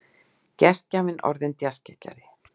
Gestgjafinn orðinn djassgeggjari.